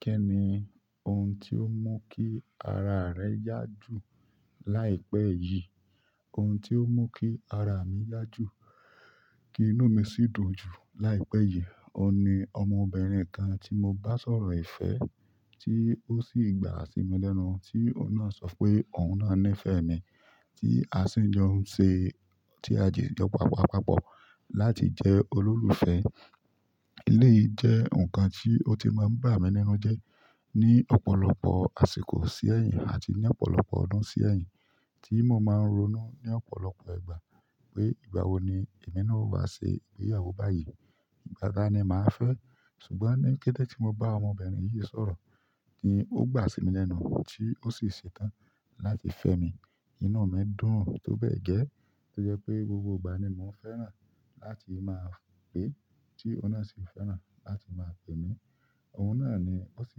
Kí ni oun tí ó mú kí ara rẹ yá jù láìpẹ́ yìí? Ohun tí ọ mí kí ará mí yá jù, kí inú mí sí dùn jù láì pe yìí. Ohùn ní ọmọ birin kàn tí mọ bá sọ̀rọ̀ ìfẹ́ tí ó sì gbà sí mi lẹ́nu, tí ohùn náà sọ pé òun náà nífẹ̀ẹ́ mi, tí a sì ń jọ ń ṣe, tí a dijo pápapápọ̀ láti jẹ olólùfẹ́. Eleyi jẹ nkán tí ọ ti má n bá mí nínú jẹ, ní ọ̀pọ̀lọpọ̀ àsìkò sí ẹyin atí ní ọ̀pọ̀lọpọ̀ ọdún sí ẹyìn tí mọ ma ronú ní ọ̀pọ̀lọpọ̀ ìgbà pé igbawo ní èmí náà yọ wá ṣe ìgbéyàwó báyìí? Dàda ni màá fẹ́, ṣùgbọ́n ní kété tí mo bá ọmọbìnrin yìí sọ̀rọ̀, kí ó gbà sí mi lẹ́nu, tí ó sì ṣetán láti fẹ́ mi, inú mi dùn tó bẹ́ẹ̀ gẹ́, tó jẹ́ pé gbogbo ìgbà ni mo fẹ́ràn láti máa pè é, tí ohùn náà sì fẹ́ràn láti máa pè mí. Òun náà ni ó sì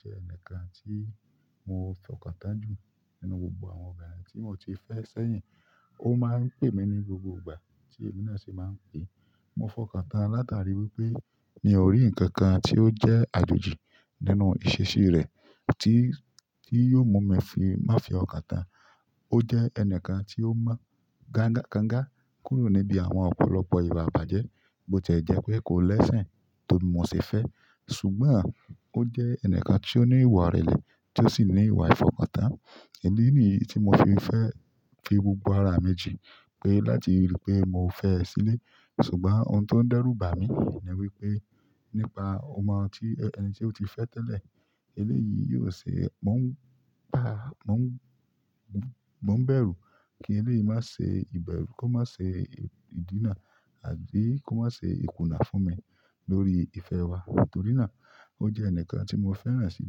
jẹ́ ẹnìkan tí mo fọkàntán jù nínú gbogbo àwọn obìnrin tí mo ti fẹ́ sẹ́yìn. Ó máa ń pè mí ní gbogbo ìgbà tí èmi náà sì máa ń pè é. Mo fọkàntán látàrí wípé mi ò rí ǹkan kan tí ó jẹ́ àjòjì nínú ìṣesí rẹ̀ tí, tí yóò mú mi fi má fi ọ́kàn tán. Ó jẹ́ ẹnìkan tí ó mọ gánna kánga kúrò níbi àwọn ọ̀pọ̀lọpọ̀ ìwà ìbàjẹ́ bó ti é jẹ́ pé kò l'esin tó bí mo ṣe fẹ́, ṣùgbọ́n ó jẹ́ ẹnìkan tí ó ní ìwà ìrẹ̀lẹ̀ tí ó sì ní ìwà ìfọkàntán. Ìdí nì yìí tí mo fi fẹ́ fi gbogbo ara mi jin pé láti rí i pé mo fẹ́ ẹ sílẹ̀. Ṣùgbọ́n oun tó ń dẹ́rù bà mí ní wípé nípa ọmọ ti, ẹni tí ó ti fẹ́ tẹ́lẹ̀, eléyìí yóò ṣe, mò ń pa, mò ń, mò ń bẹ̀rù kí eléyìí má ṣe ìbẹ̀rù, kó má ṣe ìdínà àbí kó má ṣe ìkùnà fún mi lórí ìfẹ́ wa. Nítorí náà ó jẹ́ ẹnìkan tí mo fẹ́ràn si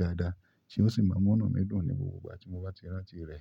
dáadáa tí ó sì máa múnú mi dùn ní gbogbo ìgbà tí mo bá ti rántí rẹ̀.